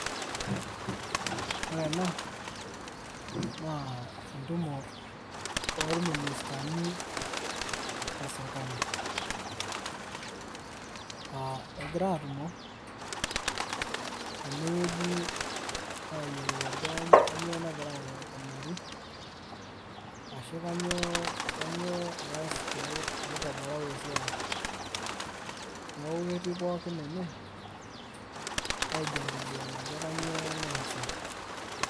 Ore ena, naa entumo orministani leserkali. Ah egira atumo tenewueji ayiolou ajo kanyioo nagira aikunari ashu kanyioo eas pe itobirari esiai. Neeku ketii pookin ene, aijadiliana ajo kanyioo naasa.